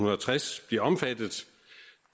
tres bliver omfattet